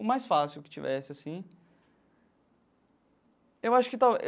O mais fácil que tivesse, assim eu acho que